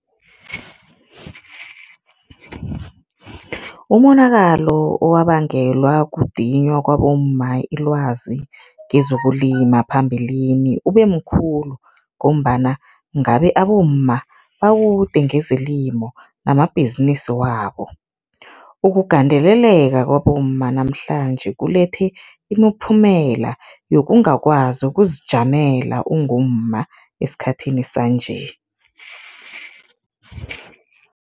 Umonakalo owabangelwa kudinywa kwabomma ilwazi kezokulima phambilini ube mkhulu ngombana ngabe abomma bakude ngezelimo namabhizinisi wabo. Ukugandeleleka kwabomma namhlanje kulethe imiphumela yokungakwazi ukuzijamela ungumma esikhathini sanje.